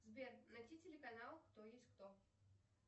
сбер найди телеканал кто есть кто